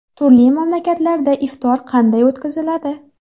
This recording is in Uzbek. Turli mamlakatlarda iftor qanday o‘tkaziladi?